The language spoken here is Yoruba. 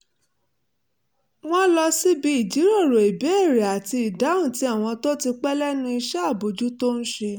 wọ́n lọ síbi ìjíròrò ìbéèrè àti ìdáhùn tí àwọn tó ti pẹ́ lẹ́nu iṣẹ́ àbójútó ń ṣe